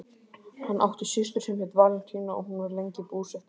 Hann átti systur sem hét Valentína og hún var lengi búsett í